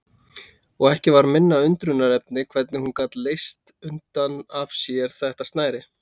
Og ekki var minna undrunarefni hvernig hún gat leyst utan af sér þetta snæri.